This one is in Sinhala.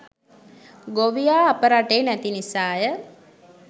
ගොවියා අප රටේ නැති නිසාය.